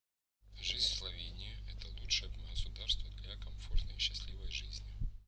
жизнь в словении это лучшее государство для комфортной и счастливой жизни